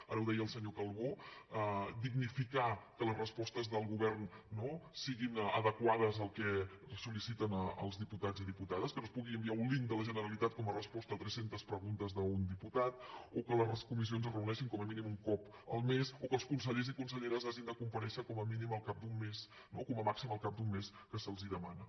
ara ho deia el senyor calbó dignificar que les respostes del govern no siguin adequades al que sol·liciten els diputats i diputades que no es pugui enviar un linkresposta a trescentes preguntes d’un diputat o que les comissions es reuneixin com a mínim un cop el mes o que els consellers i conselleres hagin de comparèixer com a màxim al cap d’un mes que se’ls demana